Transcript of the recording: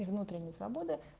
и внутренняя свобода